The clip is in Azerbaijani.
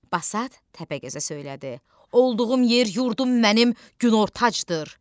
Basat Təpəgözə söylədi: Olduğum yer, yurdum mənim Günortacdır.